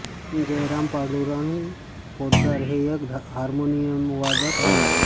पं जयराम पांडुरंग पोतदार हे एक हार्मोनियमवादक आहेत